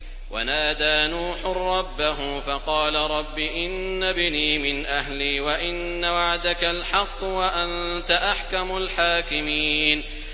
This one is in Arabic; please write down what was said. وَنَادَىٰ نُوحٌ رَّبَّهُ فَقَالَ رَبِّ إِنَّ ابْنِي مِنْ أَهْلِي وَإِنَّ وَعْدَكَ الْحَقُّ وَأَنتَ أَحْكَمُ الْحَاكِمِينَ